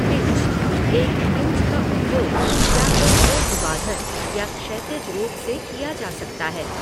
Pinch एक pinch का उपयोग या तो ऊर्ध्वाधर या क्षैतिज रूप से किया जा सकता है।